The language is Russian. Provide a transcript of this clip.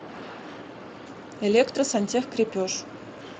электросантехкрепеж